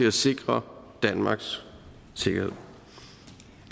at sikre danmarks sikkerhed